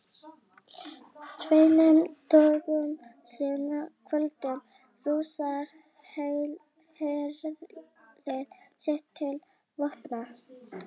Tveimur dögum seinna kvöddu Rússar herlið sitt til vopna.